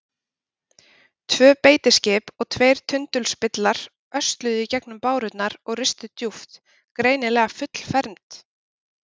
Tvö beitiskip og tveir tundurspillar ösluðu í gegnum bárurnar og ristu djúpt, greinilega fullfermd.